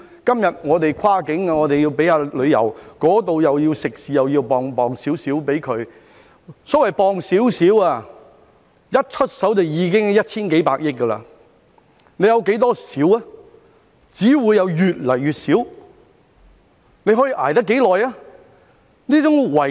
今天我們未能通關，政府亦要向旅遊業界和食肆撥出一點資助——所謂撥出一點，一出手便已經是一千幾百億元，政府有多少"一點"呢？